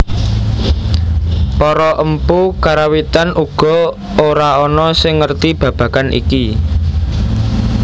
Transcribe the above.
Para empu Karawitan uga ora ana sing ngerti babagan iki